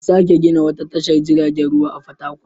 An sake gina wata tashar jiragen ruwa a Fatakwal.